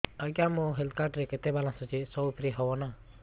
ଆଜ୍ଞା ମୋ health card ରେ କେତେ ବାଲାନ୍ସ ଅଛି ସବୁ ଫ୍ରି ହବ ନାଁ